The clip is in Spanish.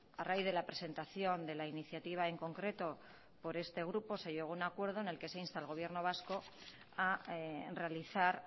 a raíz de la presentación de la iniciativa en concreto por este grupo se llegó a un acuerdo en el que se insta al gobierno vasco a realizar